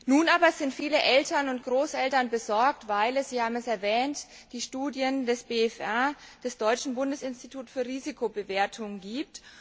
Nun aber sind viele Eltern und Großeltern besorgt, weil es wie Sie erwähnt haben die Studien des BfR, des deutschen Bundesinstituts für Risikobewertung gibt.